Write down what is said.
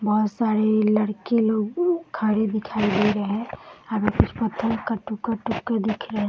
बहोत सारे लड़के लोग खड़े दिखाई दे रहे हैं। आगे कुछ पत्थर का टुका - टुका दिख रहा --